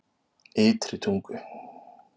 Ytri Tungu